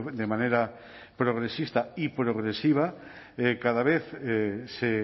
de manera progresista y progresiva cada vez se